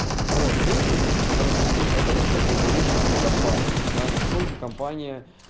ну вот третий возражение это насчёт долговечности компании да насколько компания